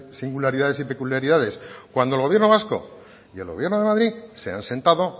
singularidades y peculiaridades cuando el gobierno vasco y el gobierno de madrid se han sentado